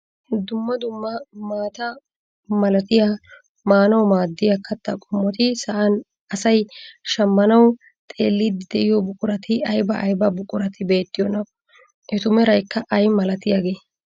Dumma dumma maataa malatiyaa maanawu maaddiyaa kattaa qoommoti sa'aan asay shammanawu xeelliidi de'iyoo buqurati ayba ayba buqurati beettiyoonaa? etu meraykka ayi malatiyaagee?